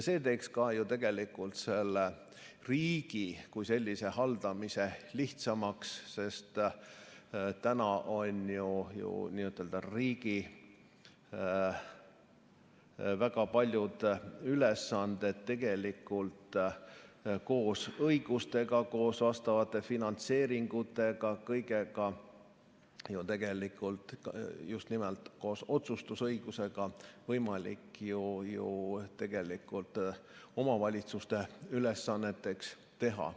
See teeks ka ju riigi kui sellise haldamise lihtsamaks, sest täna on ju riigi väga paljud ülesanded tegelikult koos õigustega, koos vastavate finantseeringutega, kõigega, just nimelt koos otsustusõigusega võimalik omavalitsuste ülesanneteks teha.